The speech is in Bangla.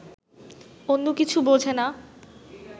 অন্য কিছু বোঝে না